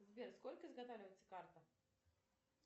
сбер сколько изготавливается карта